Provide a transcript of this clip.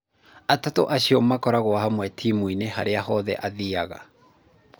Atatũ acio makoragwo hamwe timũ-inĩ harĩa hothe aathiaga